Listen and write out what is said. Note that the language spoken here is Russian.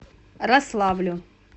рославлю